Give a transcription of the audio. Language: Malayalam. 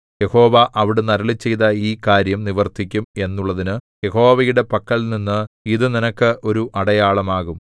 യഹോവ അവിടുന്ന് അരുളിച്ചെയ്ത ഈ കാര്യം നിവർത്തിക്കും എന്നുള്ളതിനു യഹോവയുടെ പക്കൽനിന്ന് ഇതു നിനക്ക് ഒരു അടയാളം ആകും